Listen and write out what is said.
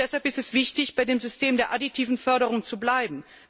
Und deshalb ist es wichtig, bei dem System der additiven Förderung zu bleiben.